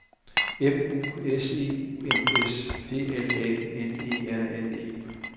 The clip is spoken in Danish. M U S E U M S P L A N E R N E